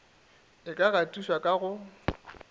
e ka gatišwago ka go